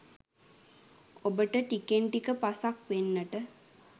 ඔබට ටිකෙන් ටික පසක් වෙන්නට